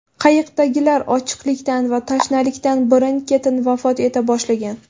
Qayiqdagilar ochlikdan va tashnalikdan birin-ketin vafot eta boshlagan.